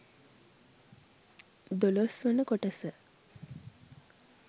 දොලොස්වන කොටස